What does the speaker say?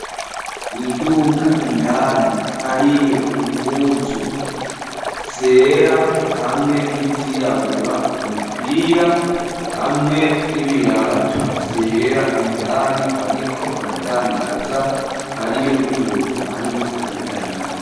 Mwiduka indani ,hariyo, impuzu ,zera ,hamwe n'izirabura, umupira hamwe n'ibirato vyera, indani bariko baradandaza ,hariyo n'umuntu arimwo ,arabidandaza.